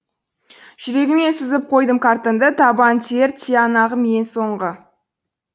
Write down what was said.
жүрегіме сызып қойдым картаңды табан тиер тиянағым ең соңғы